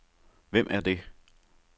Hvem er det